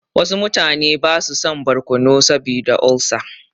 Wasu mutane ba su son barkono saboda olsa.